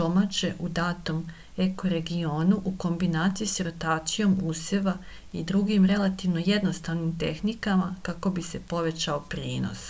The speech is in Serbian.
domaće u datom ekoregionu u kombinaciji sa rotacijom useva i drugim relativno jednostavnim tehnikama kako bi se povećao prinos